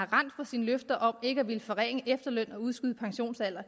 rendt fra sine løfter om ikke at ville forringe efterlønnen og udskyde pensionsalderen